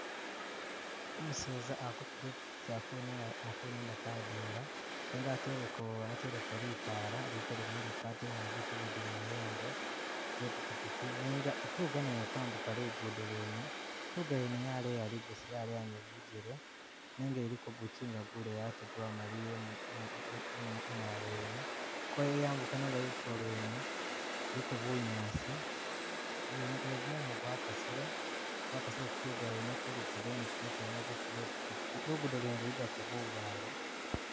Umuseza ali kufuga ipikyipiki alikunina alikunina kadinga nenga ateleko ateleko litaala lili kolimulika atele ni bitu bindi mumayembe ge pikyipikyi nenga ituga nayo ili kwambuka lugudo lwene, ituga yene yaleya likosi yaleya ni bujele nenga iliko gukyinga guleyi ate gwamaliya imwa imwa imwa imwalo yene, kweli yambuka nenga lutulo lwene kuliko bunyaasi ni mu ni gumumu gwakasile, gwakasile ku tuga yene ku lugudo ni kumutu yene ukufuga ipikyipiki, lugudo lwene luligako bubaale